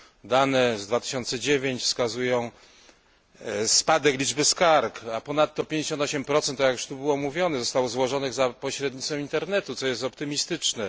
Dane z 2009 r. wskazują spadek liczby skarg, a ponadto 58 jak już tu było mówione zostało złożonych za pośrednictwem internetu, co jest optymistyczne.